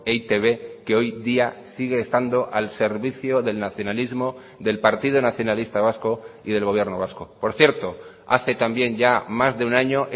e i te be que hoy día sigue estando al servicio del nacionalismo del partido nacionalista vasco y del gobierno vasco por cierto hace también ya más de un año